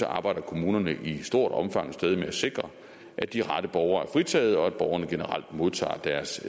arbejder kommunerne i stort omfang stadig med at sikre at de rette borgere er fritaget og at borgerne generelt modtager deres